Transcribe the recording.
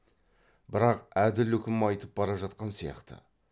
бірақ әділ үкім айтып бара жатқан сияқты